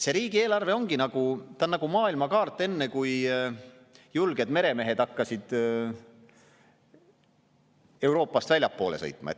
See riigieelarve ongi nagu maailmakaart enne, kui julged meremehed hakkasid Euroopast väljapoole sõitma.